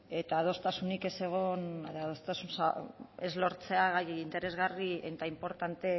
eta adostasunik ez egon adostasuna ez lortzea gai interesgarri eta inportante